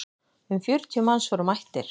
Um fjörutíu manns voru mættir.